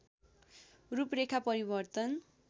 रूपरेखा परिवर्तन